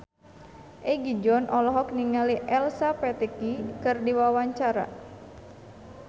Egi John olohok ningali Elsa Pataky keur diwawancara